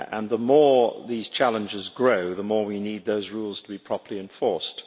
The more these challenges grow, the more we need those rules to be properly enforced.